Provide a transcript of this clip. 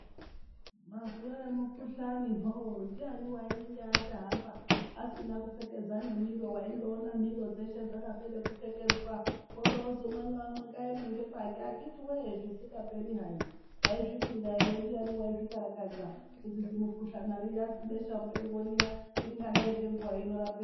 Mazuwa emikhuhlani hoo ndiyani wainge achahamba asina kupfekedza nemiro waindoona miro dzeshe dzakapere kupfekedzwa worozwi umwe naumwe ngaeme ngepakwe akhiti woye zvisingaperi hai taizvifunga ere ndiyani waizvikararakadza kuti zimukhuhlana riya zibesha mupengo riya ringadai ngenguwa ino rapera.